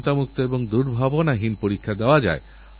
আপনারা আমাকে অবশ্যই কিছু লিখে পাঠান